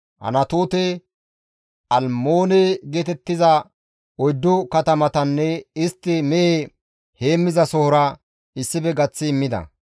Anatoote, Almmoone geetettiza oyddu katamatanne istti mehe heemmizasohora issife gaththi immida.